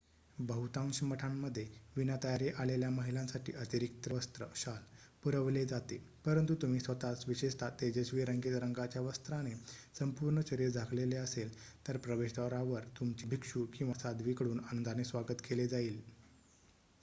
बहुतांश मठांमध्ये विना तयारी आलेल्या महिलांसाठी अतिरिक्त वस्त्र शाल पुरवले जाते परंतु तुम्ही स्वतःच विशेषत: तेजस्वी रंगीत रंगाच्या वस्त्राने संपूर्ण शरीर झाकलेले असेल तर प्रवेशद्वारावर तुमचे भिक्षू किंवा साध्वीकडून आनंदाने स्वागत केले जाईल